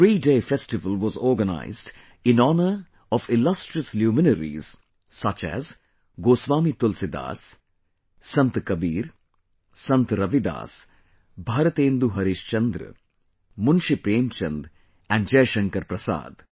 A threeday Festival was organized in honour of illustrious luminaries such as Goswami Tulsidas, Sant Kabir, Sant Ravidas, Bharatendu Harishchandra, Munshi Premchand and Jaishankar Prasad